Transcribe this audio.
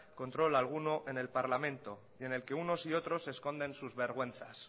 control alguno en el parlamento y en el que unos y otros se esconden sus vergüenzas